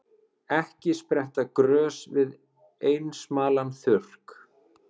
Ekki spretta grös við einsamlan þurrk.